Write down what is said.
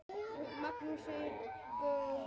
Maríus getur átt við um